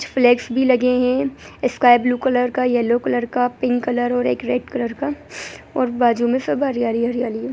इस भी लगे है स्काय ब्लू कलर का येलो कलर का पिंक कलर और एक रेड कलर का और बाजु मे सब हरियाली ही हरियाली है।